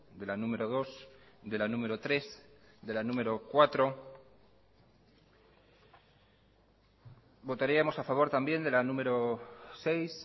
de la número dos de la número tres de la número cuatro votaríamos a favor también de la número seis